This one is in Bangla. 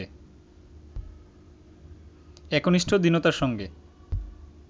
একনিষ্ঠ দীনতার সঙ্গে